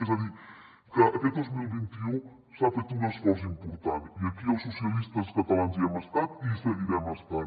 és a dir que aquest dos mil vint u s’ha fet un esforç important i aquí els socialistes catalans hi hem estat i hi seguirem estant